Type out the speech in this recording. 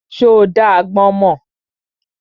Ṣo dá agbọ́n mọ́?